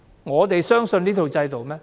我們相信這套制度嗎？